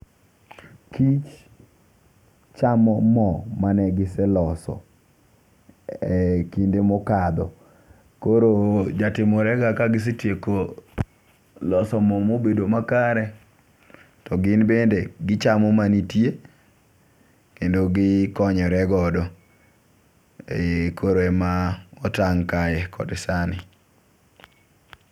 Kich chamo moo ma negise loso e kinde mokadho. Koro jatimore ga kagisetieko loso moo mobedo makare, to gin bende gichamo manitie kendo gikonyore godo e i. Koro ema otang' kae kod sani.